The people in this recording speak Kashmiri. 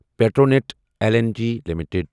Petronet L N G limited